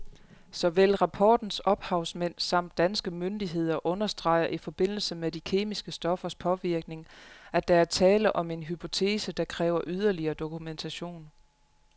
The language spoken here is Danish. Såvel rapportens ophavsmænd samt danske myndigheder understreger i forbindelse med de kemiske stoffers påvirkning, at der er tale om en hypotese, der kræver yderligere dokumentation.